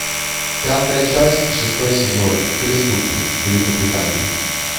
пятая часть шестой сезон преступник великобритания